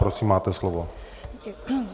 Prosím, máte slovo.